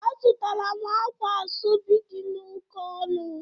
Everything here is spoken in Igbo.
Azụtara m akwa asobi dị oke ọnụ.